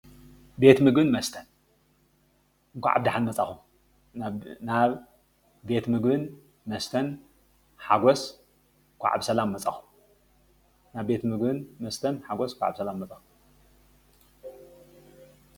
ቤትምግብን መስተን እንኳዕ ብዳሓን መፃኩም። ናብ ቤትምግብን መስተን ሓጎስ እንኳዕ ብሰላም መፃኹም።